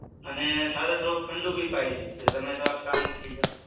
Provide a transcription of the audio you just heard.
અને સાથે થોડું ઠંડુ પણ પાઇ દે એટલે તમે થોડા શાંત થઇ જાવ